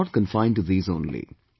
Life is not confined to these only